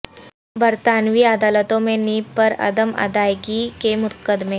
برطانوی عدالتوں میں نیب پر عدم ادائیگی کے مقدمے